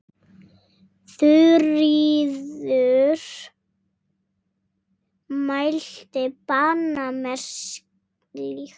Þuríður mælti banna mér slíkt.